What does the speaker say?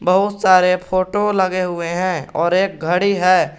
बहोत सारे फोटो लगे हुए हैं और एक घड़ी है।